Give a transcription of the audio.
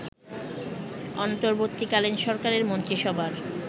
অন্তর্বর্তীকালীন সরকারের মন্ত্রীসভার